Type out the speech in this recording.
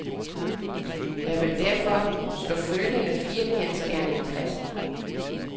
Jeg vil derfor slå følgende fire kendsgerninger fast.